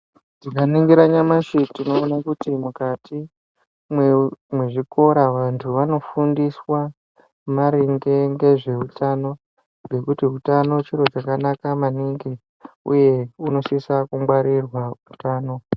Tikaningira nyamashi tinoone kuti mukati mwe mwezvikora antu anofundiswa maringe ngezveutano ngekuti utano chiro chakanaka maningi unosisa kungwarirwa utano.